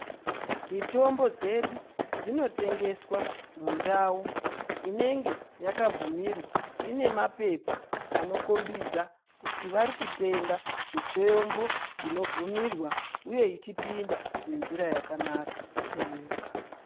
Mitombo dzedu dzinotengeswa mundau inenge yakabvumirwa, inemapepa anokombidza kuti varikutenga mitombo inobvumirwa uye ichipinda nenzira yakanaka munyika.